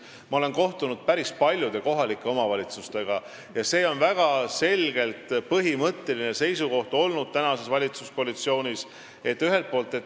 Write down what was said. Ma olen kohtunud päris paljude kohalike omavalitsustega ja valitsuskoalitsioonis on olnud väga selged põhimõttelised seisukohad.